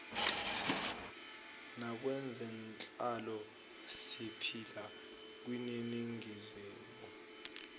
nakwezenhlalo siphila kwiningizimu